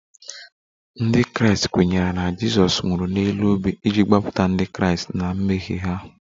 Ndị Kraịst kwenyere na Jizọs nwụrụ n'elu obe iji gbapụta Ndị Kraịst na mmehie ha